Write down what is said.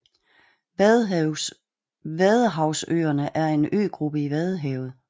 Vadehavsøerne er en øgruppe i Vadehavet